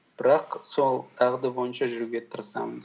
бірақ сол дағды бойынша жүруге тырысамыз